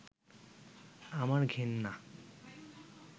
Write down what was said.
আমার ঘেন্না